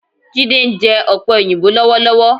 Jídé ń jẹ ọ̀pẹ òyìnbó lọ́wọ́lọ́wọ́.